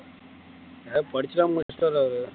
படிச்சுதான் முடிச்சிட்டார் அவரு